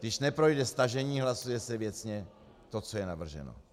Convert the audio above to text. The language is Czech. Když neprojde stažení, hlasuje se věcně to, co je navrženo.